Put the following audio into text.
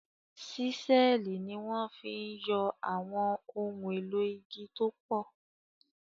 Ṣísẹ́ẹ̀lì ni wọ́n fi ń yọ àwọn ohun èlò igi tó pọ̀